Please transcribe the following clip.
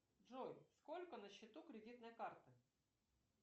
джой сколько на счету кредитной карты